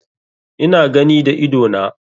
Ina gani da idona.